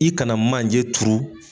I kana manje turu